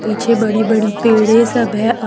पीछे बड़ी बड़ी पेड़े सब है।